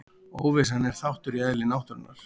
Óvissan er þáttur í eðli náttúrunnar.